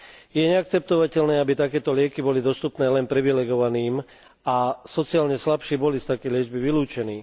Je neakceptovateľné, aby takéto lieky boli dostupné len privilegovaným a sociálne slabší boli z takej liečby vylúčení.